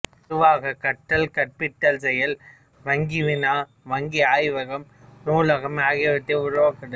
பொதுவாக கற்றல் கற்பித்தல் செயல் வங்கிவினா வங்கிஆய்வகம் நூலகம் ஆகியவற்றை உருவாக்குதல்